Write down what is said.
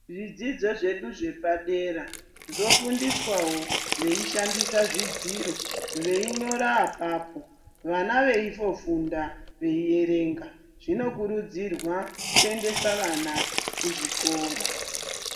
Zvidzidzo zvedu zvepadera zvofundiswawo veishandisa zvidziro ,veinyora apapo. Vana veitofunda , veierenga. Zvinokurudzirwa kuendesa vana kuzvikora.